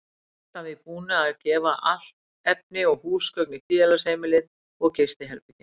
Hét hann að því búnu að gefa allt efni og húsgögn í félagsheimilið og gistiherbergin.